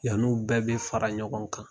Yani u bɛɛ bɛ fara ɲɔgɔn kan.